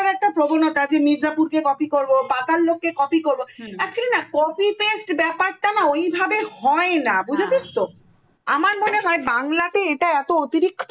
copy করার প্রবণতা যে মেদনাপুর কে copy করো পাতালক কে copy করো actually না copy paste ব্যাপার টা না ওই ভাবে হয় না বুজেছিস তো আমার মনে হয় বাংলা তে এইটা এত অতিরিক্ত